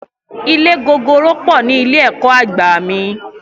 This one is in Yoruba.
Ilé gogoro po ni ilé ẹ̀kọ́ àgbà mi